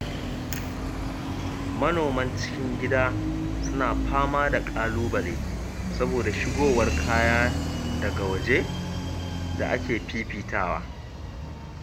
Manoman cikin gida suna fama da ƙalubale saboda shigowar kaya daga waje da ake fifitawa